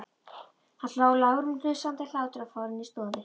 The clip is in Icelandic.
Hann hló, lágværum, hnussandi hlátri og fór inn í stofu.